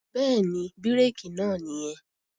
Bẹ́ẹ̀ni, bírèkì náà nìyẹn